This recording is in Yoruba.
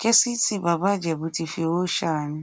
kessington bàbá ìjẹbù tíì fi owó ṣàánú